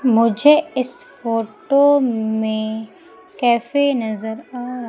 मुझे इस फोटो में कैफे नजर आ र--